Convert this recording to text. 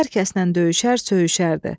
Hər kəslə döyüşər, söyüşərdi.